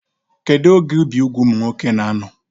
Kedụ oge ibi úgwù ụmụ nwoke na-anọ?